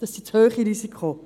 Das sind zu hohe Risiken.